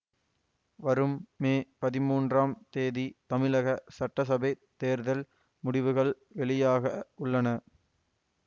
வரும் மே பதிமூன்றாம் தேதி தமிழக சட்டசபைத் தேர்தல் முடிவுகள் வெளியாக உள்ளன